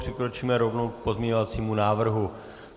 Přikročíme rovnou k pozměňovacímu návrhu.